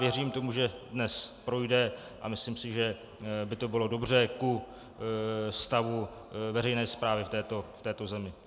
Věřím tomu, že dnes projde, a myslím si, že by to bylo dobře ku stavu veřejné správy v této zemi.